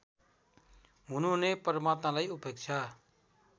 हुनुहुने परमात्मालाई उपेक्षा